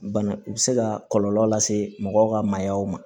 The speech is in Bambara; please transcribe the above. Bana u bɛ se ka kɔlɔlɔ lase mɔgɔw ka maayaw ma